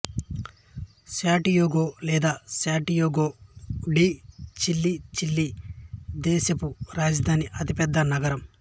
Santiago లేదా Santiago de Chile Chile దేశపు రాజధాని అతిపెద్ద నగరం